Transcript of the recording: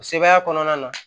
O sebaaya kɔnɔna na